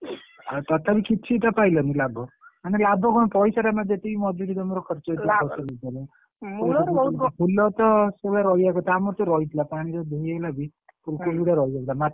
ତଥାପି କିଛିଟା ପାଇଲନି ଲାଭ ମାନେ ଲାଭ କଣ ପଇସାରେ ଯେତିକି ମଜୁରି ତମର ଖର୍ଚ ହେଇଥିବ ଫୁଲ ତ ଏତେ ସମୟ ରହିଆ କଥା ଆମର ତ ରହିଥିଲା ପାଣିରେ ଧୋଇଇହେଇଗଲାବି ଫୁଲକୋବି ଅରା ରହି ଯାଇଥିଲା।